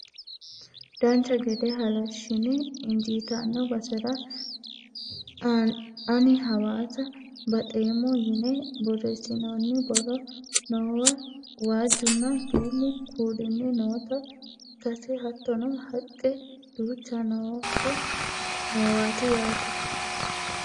dancha gede halashshine injiitanno basera ani hawaasa baxeemmo yine borreessinoonni borro noowa waajjunna duumu kuulinni noota ikkase hattono haqqe duucha noowaati yaate